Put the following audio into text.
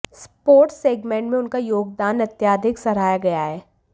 sports segment में उनका योगदान अत्यधिक सराहा गया है